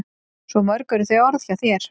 Svo mörg eru þau orð hjá þér.